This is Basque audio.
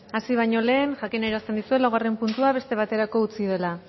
hasi baino lehen jakinarazten dizuet laugarren puntua beste baterako utzi dela